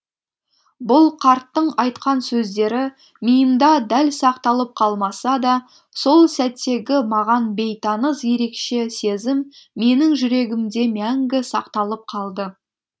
бұл қарттың айтқан сөздері миымда дәл сақталып қалмаса да сол сәттегі маған бейтаныс ерекше сезім менің жүрегімде мәңгі сақталып қалды